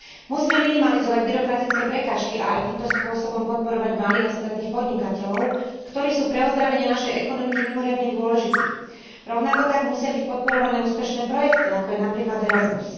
Musíme minimalizovať byrokratické prekážky a aj týmto podporovať malých a stredných podnikateľov, ktorí sú pre ozdravenie našej ekonomiky mimoriadne dôležití. Rovnako tak musia byť podporované úspešné projekty, ako je napríklad Erasmus.